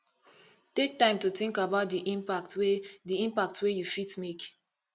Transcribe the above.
take time to think about di impact wey di impact wey you fit make